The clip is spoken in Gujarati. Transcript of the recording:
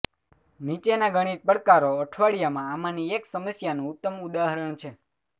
નીચેના ગણિત પડકારો અઠવાડિયામાં આમાંની એક સમસ્યાનું ઉત્તમ ઉદાહરણ છે